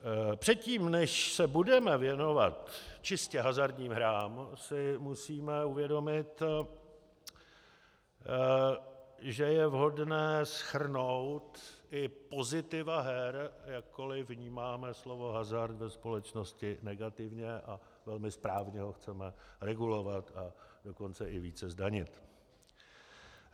Předtím, než se budeme věnovat čistě hazardním hrám, si musíme uvědomit, že je vhodné shrnout i pozitiva her, jakkoli vnímáme slovo hazard ve společnosti negativně a velmi správně ho chceme regulovat, a dokonce i více zdanit.